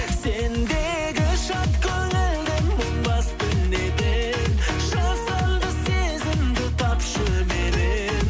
сендегі шат көңілді мұң басты неден жасанды сезімді тапшы меннен